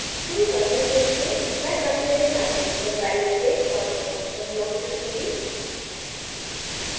शुरू करने के लिए मैं continuous time system palette से transfer function block चुनूँगी